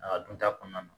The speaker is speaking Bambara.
A ka dun ta kɔnɔna na